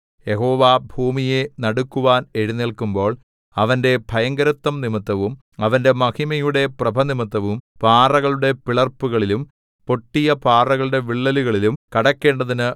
യഹോവ ഭൂമിയെ നടുക്കുവാൻ എഴുന്നേല്ക്കുമ്പോൾ അവന്റെ ഭയങ്കരത്വം നിമിത്തവും അവന്റെ മഹിമയുടെ പ്രഭനിമിത്തവും പാറകളുടെ പിളർപ്പുകളിലും പൊട്ടിയ പാറകളുടെ വിള്ളലുകളിലും കടക്കേണ്ടതിന്